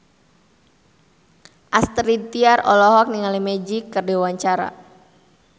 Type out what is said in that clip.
Astrid Tiar olohok ningali Magic keur diwawancara